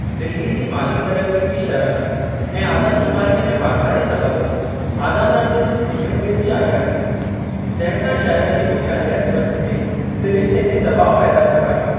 दिल्ली जी माली तरक़ी जी शरह ऐं आदमशुमारीअ में वाधारे सबबि आमदरफ़्त जी घुर में तेज़ी आई आहे, जंहिं सां शहर जी बुनियादी अचुवचु जे सिरिश्ते ते दॿाउ पैदा थियो आहे।